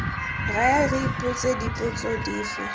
raya re ipotsa dipotso dife